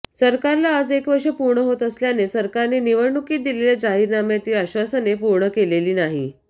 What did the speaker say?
सरकारला आज एक वर्ष पूर्ण होत असल्याने सरकारने निवडणूकीत दिलेल्या जाहीरनाम्यातील आश्वासने पूर्ण केलेली नाही